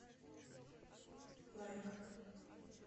лайк